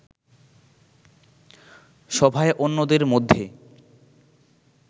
সভায় অন্যদের মধ্যে